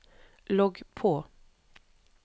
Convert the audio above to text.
logg på